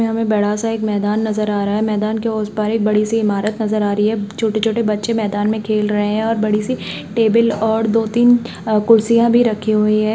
यहाँ हमे बड़ा सा एक मैदान नजर आ रहा है मैदान के उस पार एक बड़ी सी इमारत नजर आ रही है| छोटे-छोटे बच्चे मैदान मे खेल रहे है और बड़ी सी टेबल और दो-तीन अ- कुर्सिया भी रखी हुई है।